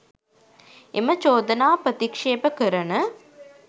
එම චෝදනා ප්‍රතික්ෂේප කරන